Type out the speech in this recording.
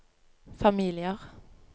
familier